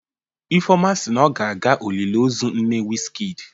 Ifeoma si na ọ ga-aga oliliozu nne Wizkid